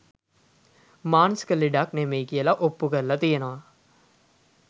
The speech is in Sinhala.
මානසික ලෙඩක් නෙමෙයි කියල ඔප්පු කරලා තියෙනවා